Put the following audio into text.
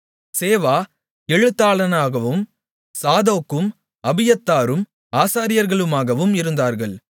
சேவா எழுத்தாளனாகவும் சாதோக்கும் அபியத்தாரும் ஆசாரியர்களுமாகவும் இருந்தார்கள்